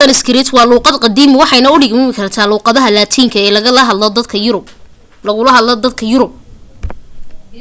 sanskrit waa luuqad qadiiimi waxayna u dhigmi kartaa luuqadda laatinka ee lagaga hadlo yurub